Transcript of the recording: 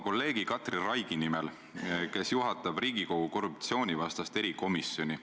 Kui räägime ühiskonna ühendamisest, paremast ühendamisest, siis kõige olulisemad on ikkagi inimsuhted.